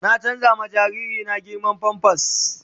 Na canza ma jariri na girman "pampers "